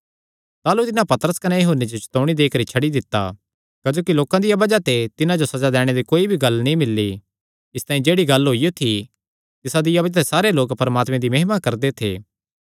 ताह़लू तिन्हां पतरस कने यूहन्ने जो चतौणी देई करी छड्डी दित्ता क्जोकि लोकां दिया बज़ाह ते तिन्हां जो सज़ा दैणे दी कोई भी गल्ल नीं मिल्ली इसतांई जेह्ड़ी गल्ल होई थी तिसदिया बज़ाह ते सारे लोक परमात्मे दी महिमा करदे थे